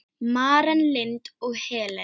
Maren Lind og Helena.